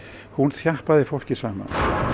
þjappaði fólki saman